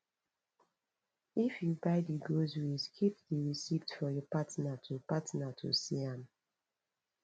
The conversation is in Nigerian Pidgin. if you buy di groceries keep di receipt for your partner to partner to see am